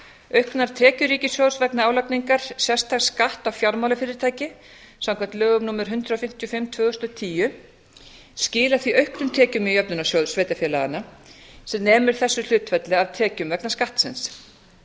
auknar tekjur ríkissjóðs vegna álagningar sérstaks skatts á fjármálafyrirtæki samkvæmt lögum númer hundrað fimmtíu og fimm tvö þúsund og tíu skila því auknum tekjum í jöfnunarsjóð sveitarfélaga sem nemur þessu hlutfalli af tekjum vegna skattsins